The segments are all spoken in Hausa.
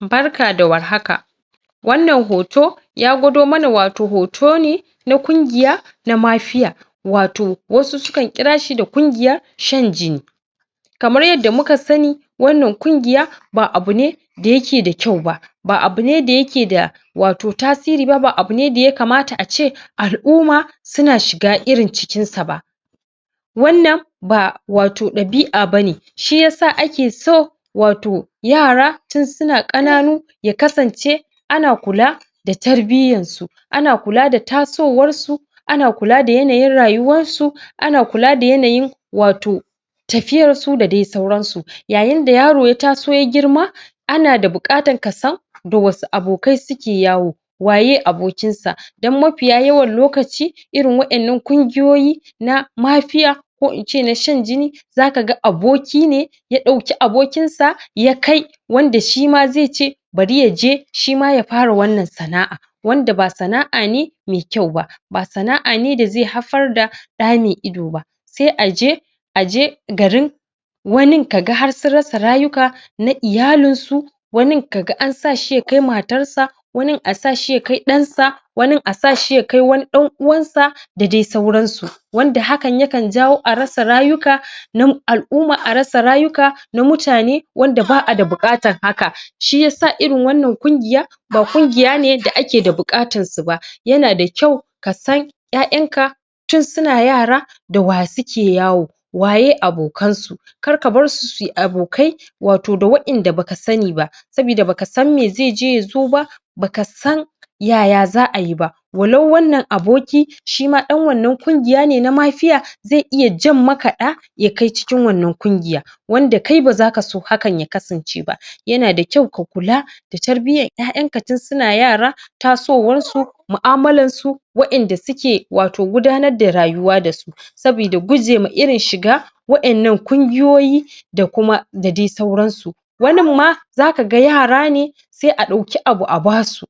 Barka da war haka! Wannan hoto ya gwado mana wato hoto ne na kungiya na mafiya, wato wasu sukan kira shi da kungiya shan jini. Kamar yadda muka sani, wannan kungiya ba abu ne da yake da kyau ba ba abu ne da yake da wato tasiri ba; ba abu ne da ya kamata a ce al'uma suna shiga irin cikinsa ba. wannan wato ba ɗabi'a ba ne. Shi ya sa ake so wato yara tun suna ƙaƙanu ya kasance ana kula da tarbiyyansu; ana kula da tasowarsu ana kula da yanayin rayuwansu; ana kula da yanayin wato tafiyarsu da dai sauransu. Yayin da yaro ya taso ya girma kana da bukatan ka san da wasu abokai suke yawo. Waye abokinsa? Don mafiya yawan lokaci irin waƴannan kungiyoyi na mafiya, ko in ce na shan jini za ka ga aboki ne ya ɗauki abokinsa ya kai wanda shi ma zai ce bari ya je shi ma ya fara sana'a, wanda ba sana'a ne mai kyau ba; ba sana'a ne da zai haifar da ɗamai ido ba sai a je, a je garin. Wanin ka ga har sun rasa rayuka na iyalinsu; wanin ka ga an sa shi ya kai matarsa wanin a sa shi ya kai ɗansa; wanin a sa shi ya kai ɗan'uwansa da dai sauransu, wanda hakan yakan jawo a rasa rayuka na al'uma a rasa rayuka na mutane wanda ba a da buƙatan haka. Shi ya sa irin wannan kungiya ba kungiya ne da ake da bukatansu ba; yana da kyau ka san ƴaƴanka tun suna yara, da wa suke yawo? Waye abokansu? Kar ka bar su su yi abokai wato da wa'inda ba ka sani ba sabida ba ka san me zai je ya zo ba, ba ka san yaya za a yi ba, walau wannan aboki shi ma ɗan wannan kungiya ne na mafiya. Zai iya jan maka ɗa ya kai cikin wannan kungiya wanda kai ba za ka so hakan ya kasance ba da kyau ka kula da tarbiyyan ƴaƴanka tun suna yara, tasowarsu mu'amalansu, waƴanda suke wato gudanar da rayuwa da su sabida guje ma irin shiga wa'innan kungiyoyi da kuma da dai sauransu. Wanin ma za ka ga yara ne sai a ɗauki abu a ba su.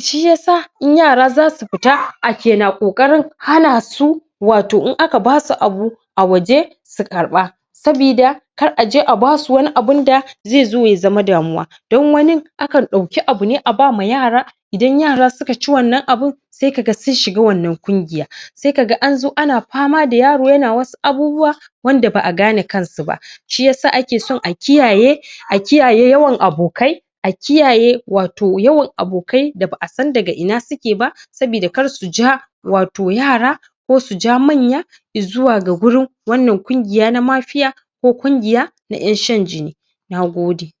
Shi ya sa in yara za su fita ake na ƙoƙarin hana su wato in aka ba su abu a waje su karɓa, sabida kar a je a ba su wani abinda zai zo ya zama damuwa Don wanin akan ɗauki abu ne a ba ma yara. Idan yara suka ci wannan abin sai ka ga sun shiga wannan kungiy, sai ka ga an zo ana fama da yaro yana wasu abubuwa wanda ba a gane kansu ba. Shi ya sa ake son a kiyaye a kiyaye yawan abokai; a kiyaye wato yawan abokai da ba a san daga ina suke ba sabida kar su ja wato yara ko su ja manya i zuwa gurin wanna kungiya na mafiya ko kungiya na ƴan shan jini. Na gode!